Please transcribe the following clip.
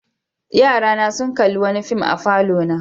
Yarana sun kalli wani fim a falona.